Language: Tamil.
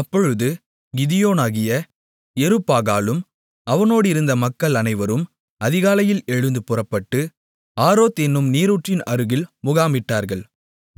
அப்பொழுது கிதியோனாகிய யெருபாகாலும் அவனோடிருந்த மக்கள் அனைவரும் அதிகாலையில் எழுந்து புறப்பட்டு ஆரோத் என்னும் நீரூற்றின் அருகில் முகாமிட்டார்கள்